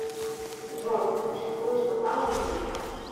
джой ты существуешь на самом деле